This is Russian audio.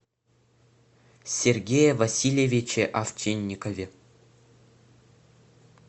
сергее васильевиче овчинникове